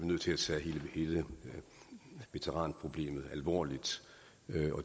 nødt til at tage hele veteranproblemet alvorligt